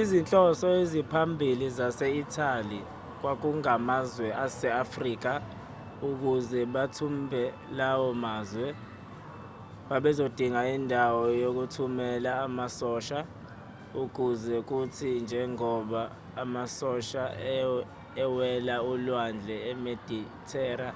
izinhloso eziphambili zase-italy kwakungamazwe ase-afrika ukuze bathumbe lawo mazwe babezodinga indawo yokuthumela amasosha ukuze kuthi njengoba amasosha ewela ulwandle imedithera